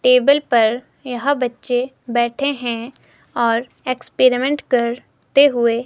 table पर यह बच्चे बैठे हैं और एक्सपेरिमेंट कर ते हुए --